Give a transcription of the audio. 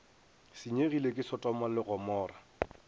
senyegile ke sotoma le gomora